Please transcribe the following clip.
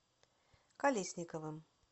колесниковым